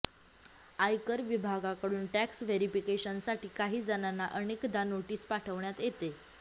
आयकर विभागाकडून टॅक्स व्हेरिफिकेशनसाठी काहीजणांना अनेकदा नोटीस पाठवण्यात येते